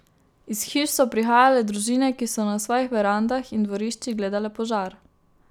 Iz hiš so prihajale družine, ki so na svojih verandah in dvoriščih gledale požar.